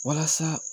Walasa